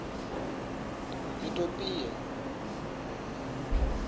itopia